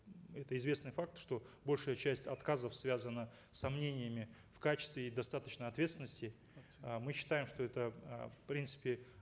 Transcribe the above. это известный факт что большая часть отказов связана с сомнениями в качестве и достаточной ответственности э мы считаем что это э в принципе